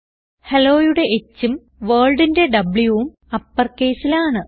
helloയുടെ Hഉം Worldന്റെ Wഉം uppercaseൽ ആണ്